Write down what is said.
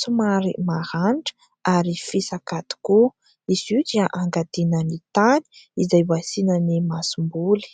somary maranitra ary fisaka tokoa , izy io dia angadiana ny tany izay hasiana ny masomboly .